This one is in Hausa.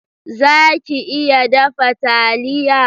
Za ki iya dafa taliya?